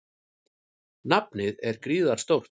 Nafnið er gríðarstórt.